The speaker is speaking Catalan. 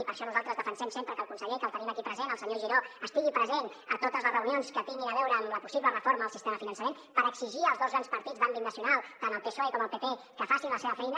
i per això nosaltres defensem sempre que el conseller que el tenim aquí present el senyor giró estigui present a totes les reunions que tinguin a veure amb la possible reforma del sistema de finançament per exigir als dos grans partits d’àmbit nacional tant el psoe com el pp que facin la seva feina